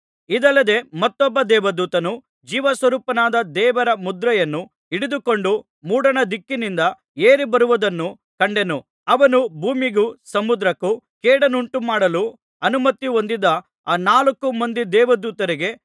ಇದಲ್ಲದೆ ಮತ್ತೊಬ್ಬ ದೇವದೂತನು ಜೀವಸ್ವರೂಪನಾದ ದೇವರ ಮುದ್ರೆಯನ್ನು ಹಿಡಿದುಕೊಂಡು ಮೂಡಣದಿಕ್ಕಿನಿಂದ ಏರಿಬರುವುದನ್ನು ಕಂಡೆನು ಅವನು ಭೂಮಿಗೂ ಸಮುದ್ರಕ್ಕೂ ಕೇಡನ್ನುಂಟುಮಾಡಲು ಅನುಮತಿ ಹೊಂದಿದ ಆ ನಾಲ್ಕು ಮಂದಿ ದೇವದೂತರಿಗೆ